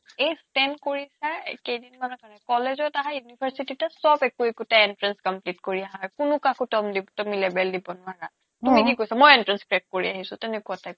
এই ষ্টেন কৰিছে কেইদিনমানৰ কাৰণে কলেজত আহা university তে চব একো একোটা entrance compete কৰি আহা কোনো কাকো কাকো লেবেল দিব নোৱাৰা তুমি কি কৰিছা ময়ো entrance crack কৰি আহিছো তেনেকোৱা type ৰ